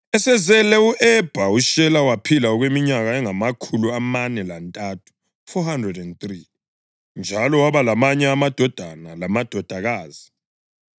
Esezele u-Ebha, uShela waphila okweminyaka engamakhulu amane lantathu (403), njalo waba lamanye amadodana lamadodakazi.